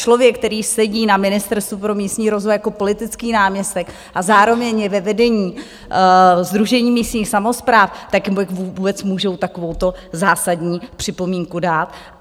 Člověk, který sedí na Ministerstvu pro místní rozvoj jako politický náměstek a zároveň je ve vedení Sdružení místních samospráv, tak jak vůbec může takovouto zásadní připomínku dát?